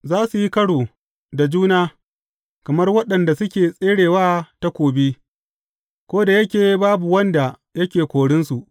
Za su yi karo da juna kamar waɗanda suke tsere wa takobi, ko da yake babu wanda yake korinsu.